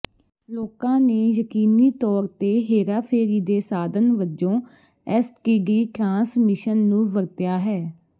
ਲੋਕਾਂ ਨੇ ਯਕੀਨੀ ਤੌਰ ਤੇ ਹੇਰਾਫੇਰੀ ਦੇ ਸਾਧਨ ਵਜੋਂ ਐਸਟੀਡੀ ਟਰਾਂਸਮਿਸ਼ਨ ਨੂੰ ਵਰਤਿਆ ਹੈ